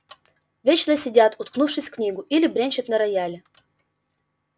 вечно сидят уткнувшись в книгу или бренчат на рояле